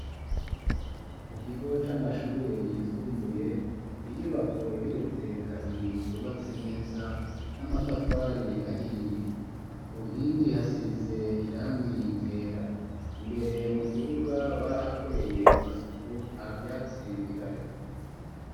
Mu kigo c'amashure yisumbuye inyubako igeretse kabiri yubatse neza n'amatafari ahiye ku nkingi hasize irangi yera imbere mu kibuga barahakoreye amasuku nta vyatsi bihari.